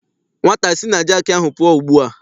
Nwata si na jaakị ahụ pụọ ugbu a!